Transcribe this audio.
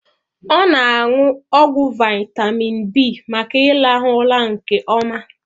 Ọ na aṅụ ọgwụ vitamin B maka irahu ụra nke ọma